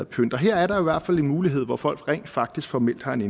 pynt og her er der i hvert fald en mulighed hvor folk rent faktisk formelt har en